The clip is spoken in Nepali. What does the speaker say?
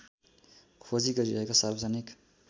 खोजी गरिरहेको सार्वजनिक